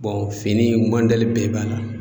fini mɔdɛli bɛɛ b'a la.